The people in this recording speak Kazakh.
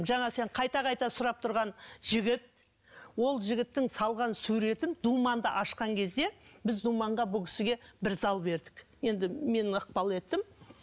жаңа сен қайта қайта сұрап тұрған жігіт ол жігіттің салған суретін думанды ашқан кезде біз думанға бұл кісіге бір зал бердік енді мен ықпал еттім